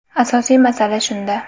Asosiy masala shunda.